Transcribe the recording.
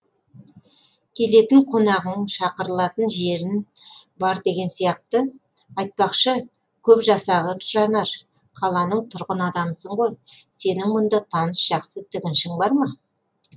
келетін қонағың шақырылатын жерің бар деген сияқты айтпақшы көп жасағыр жанар қаланың тұрғын адамысың ғой сенің мұнда таныс жақсы тігіншің бар ма